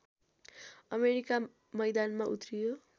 America मैदानमा उत्रियो